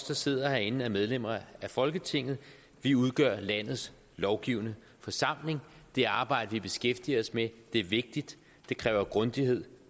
der sidder herinde er medlemmer af folketinget vi udgør landets lovgivende forsamling det arbejde vi beskæftiger os med er vigtigt det kræver grundighed